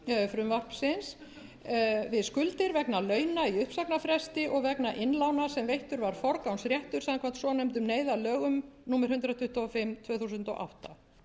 frumvarpsins við skuldir vegna launa í uppsagnarfresti og vegna innlána sem veittur var forgangsréttur samkvæmt svonefndum neyðarlögum númer hundrað tuttugu og fimm tvö þúsund og átta